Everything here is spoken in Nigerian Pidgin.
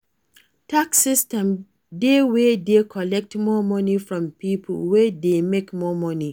Tax system dey wey dey collect more money from pipo wey dey make more money